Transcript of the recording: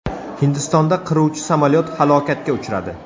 Hindistonda qiruvchi samolyot halokatga uchradi.